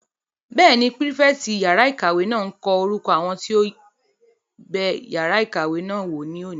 Bẹ́ẹ̀ni, pírífẹ̀tì yàrá-ìkàwé náà n kọ orúkọ àwọn tó bẹ yàrá ìkàwé náà wò ní òní